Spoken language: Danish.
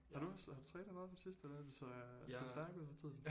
Har du også har du trænet meget på det sidste jeg synes øh du ser stærk ud for tiden